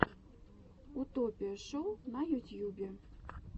утопия шоу на ютьюбе